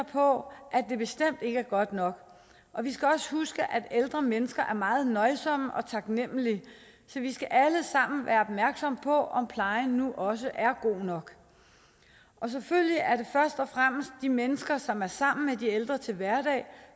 på at det bestemt ikke er godt nok og vi skal også huske at ældre mennesker er meget nøjsomme og taknemlige så vi skal alle sammen være opmærksomme på om plejen nu også er god nok selvfølgelig er det først og fremmest de mennesker som er sammen med de ældre til hverdag